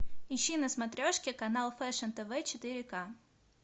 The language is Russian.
ищи на смотрешке канал фешн тв четыре ка